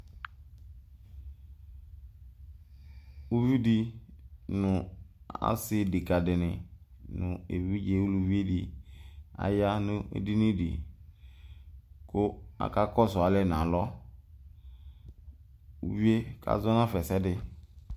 Uvi di nʋ asi ɖeka dini nʋ evidze uluvi di aya nʋ edini di kʋ aka kɔsʋ alɛ n'alɔ Uvi yɛ kazɔ n'afa ɛsɛdi